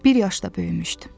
Bir yaşda böyümüşdüm.